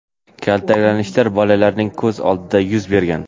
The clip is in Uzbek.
kaltaklanishlar bolalarning ko‘z oldida yuz bergan.